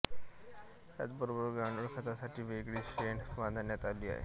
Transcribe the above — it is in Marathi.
त्याच बरोबर गांडूळ खतासाठी वेगळी शेड बांधण्यात आली आहे